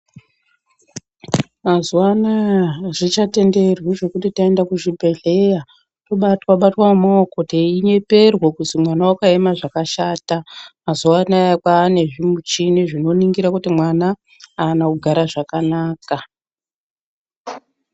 Mazuwa anaya azvichatenderwi zvekuti taenda kuzvibhedhleya, tobatwa-batwa ngemaoko, teinyeperwa kuti mwana wakaema zvakashata. Mazuwa anaya kwaane zvimichini, zvinoningira kuti mwana, aana kugara zvakanaka.